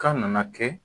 Kan nana kɛ